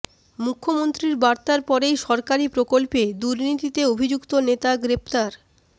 মুখ্যমন্ত্রীর বার্তার পরেই সরকারি প্রকল্পে দুর্নীতিতে অভিযুক্ত নেতা গ্রেফতার